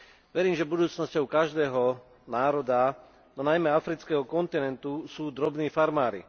Verím, že budúcnosťou každého národa, no najmä afrického kontinentu, sú drobní farmári.